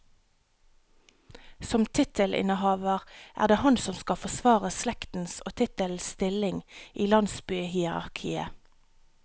Som tittelinnhaver er den han som skal forsvare slektens og tittelens stilling i landsbyhierakiet.